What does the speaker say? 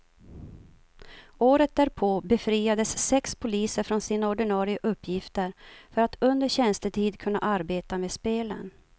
Året därpå befriades sex poliser från sina ordinare uppgifter för att under tjänstetid kunna arbeta med spelen.